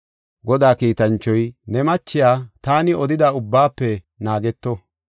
Godaa kiitanchoy, “Ne machiya taani odida ubbaafe naageto.